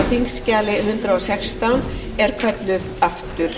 þingskjali hundrað og sextán er kölluð aftur